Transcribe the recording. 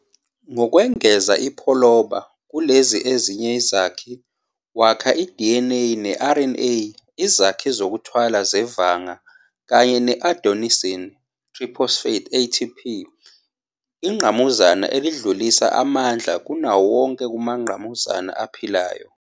Ngokwengeza iPholoba kulezi ezinye izakhi, wakha i-DNA ne-RNA, izakhi zokuthwala zeVanga, kanye ne-adenosine triphosphate, ATP, ingqamuzana elidlulisa amandla kunawo wonke kumangqamuzana aphilayo